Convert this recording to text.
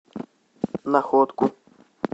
находку